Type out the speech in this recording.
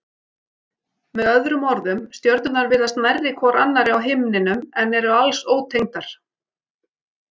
Með öðrum orðum stjörnurnar virðast nærri hvor annarri á himninum en eru alls ótengdar.